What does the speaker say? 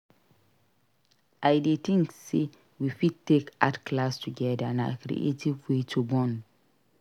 I dey think say we fit take art class together; na creative way to bond.